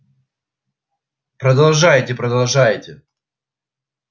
продолжайте продолжайте